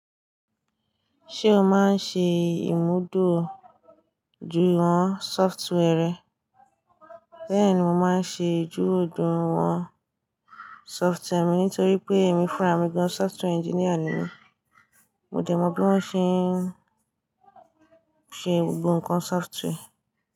Ṣé o máa ń ṣe ìmúdóòdú ju àwọn software rẹ? Bẹ́ẹ̀ni, mo máa ń ṣe ìbúdókọ̀ àwọn sófútúwà mi nítorí pé èmi fúnra méjì ọ̀n software engineer ni. Mo dẹ̀ mọ bí wọ́n ṣe ń ṣe gbogbo ǹkan sófútúwàre.